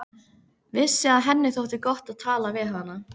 Vissi að henni þótti gott að tala við hana.